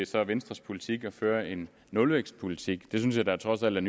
så er venstres politik vil føre en nulvækstpolitik det synes jeg trods alt er